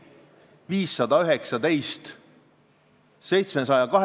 Ilmarile aga ütleme, et küll sina hakkama saad, Keeleinspektsioon on sinu taga ja kõik me oleme moraalselt toeks.